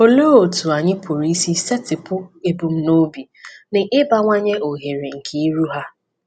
Olee otú anyị pụrụ isi setịpụ ebumnobi na ịbawanye ohere nke iru ha?